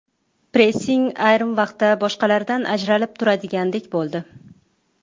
Pressing ayrim vaqtda boshqalaridan ajralib turadigandek bo‘ldi.